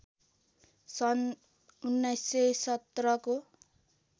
सन् १९१७ को